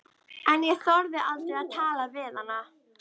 En ég þorði aldrei að tala við hana.